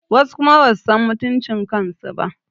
Wasu kuma basu san mutuncin kansu ba